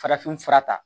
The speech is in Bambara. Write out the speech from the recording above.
Farafin fura ta